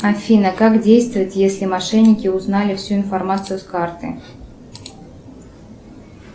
афина как действовать если мошенники узнали всю информацию с карты